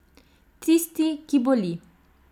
Tisti, ki boli.